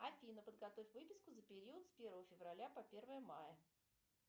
афина подготовь выписку за период с первого февраля по первое мая